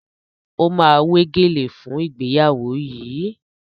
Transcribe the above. O ma wé gèlè fún ìgbéyàwó yìí